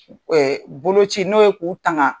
bolokoti n'o ye k'u tanga